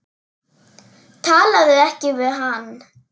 Talaðu ekki við hann.